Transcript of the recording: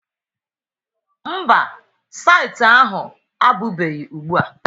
Mba, saịtị ahụ apụbeghị ugbua.